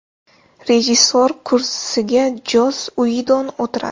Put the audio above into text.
Rejissor kursisiga Joss Uidon o‘tiradi.